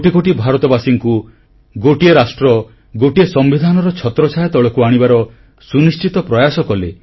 କୋଟି କୋଟି ଭାରତବାସୀଙ୍କୁ ଗୋଟିଏ ରାଷ୍ଟ୍ର ଓ ଗୋଟିଏ ସମ୍ବିଧାନର ଛତ୍ରଛାୟା ତଳକୁ ଆଣିବାର ସୁନିଶ୍ଚିତ ପ୍ରୟାସ କଲେ